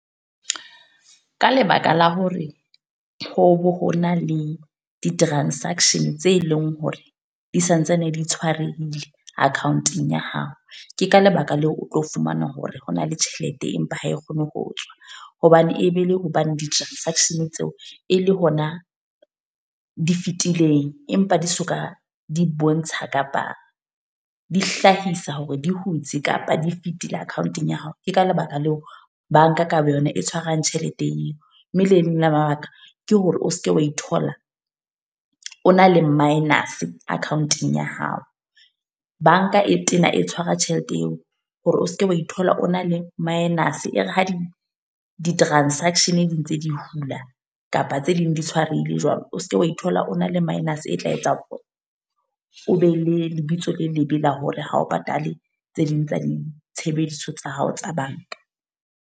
Ka lebaka la hore ho be ho na le di-transaction tse leng hore, di santsane di tshwarehile account-ong ya hao. Ke ka lebaka leo o tlo fumana hore ho na le tjhelete empa ha e kgone ho tswa. Hobane e be le hobane di-transaction tseo, e le hona di fitileng. Empa di soka di bontsha kapa di hlahisa hore di hutse kapa di fetile account-ong ya hao. Ke ka lebaka leo banka ka boyona e tshwarang tjhelete eo. Mme le leng la mabaka ke hore o seke wa ithola o na le minus account-eng ya hao. Banka e tena e tshwara tjhelete eo hore o seke wa ithola o na le minus. E re ha di di-transaction di ntse di hula, kapa tse ding di tshwarehile jwalo. O seke wa ithola, o na le minus a tla etsang ona, o be le lebitso le lebe la hore ha o patale tse ding tsa di tshebediso tsa hao tsa banka.